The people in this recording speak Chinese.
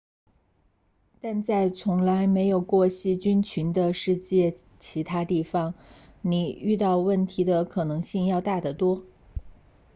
但在从来没有过细菌群的世界其他地方你遇到问题的可能性要大得多